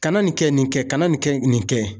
Ka na nin kɛ nin kɛ, kana nin kɛ nin kɛ.